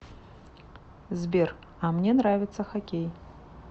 сбер а мне нравится хоккей